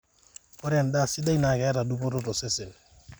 ore endaa sidai naa keeta dupoto tosesen